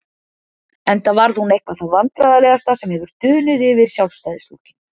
Enda varð hún eitthvað það vandræðalegasta sem hefur dunið yfir Sjálfstæðisflokkinn.